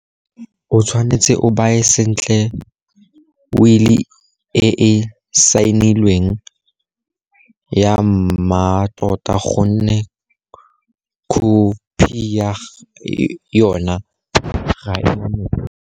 O tshwanetse o baye sentle wili e e saenilweng ya mmatota gonne khophi ya yona ga e na mosola.